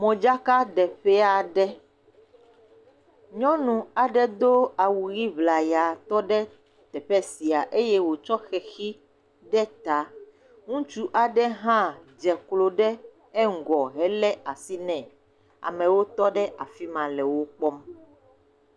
Modzakaɖeƒe aɖe, nyɔnu aɖe do awu ʋi ŋlaya tɔ ɖe teƒe sia eye wòtsɔ xexi aɖe ta. Ŋutsu aɖe hã dze klo ɖe eŋugɔ lé asi nɛ, amewo tɔ ɖe afi ma le wo kpɔm.